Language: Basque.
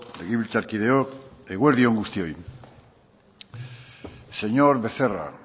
legebiltzarkideok eguerdi on guztioi señor becerra